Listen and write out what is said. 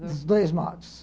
Dos dois modos.